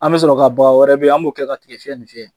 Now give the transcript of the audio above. An bɛ sɔrɔ ka bama wɛrɛ be ye, an b'o kɛ ka tigɛfiyɛ nin fiyɛ.